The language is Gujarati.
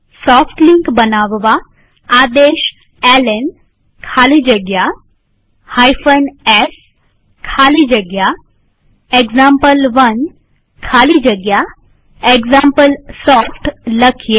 સોફ્ટ લિંક બનાવવા આદેશ એલએન ખાલી જગ્યા s ખાલી જગ્યા એક્ઝામ્પલ1 ખાલી જગ્યા એક્ઝામ્પલસોફ્ટ લખીએ